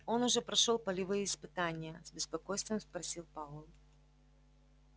он уже прошёл полевые испытания с беспокойством спросил пауэлл